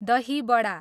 दही बडा